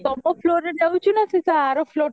ତମ floorରେ ଯାଉଚି ନା ସେଇଟା ଆର floor ରେ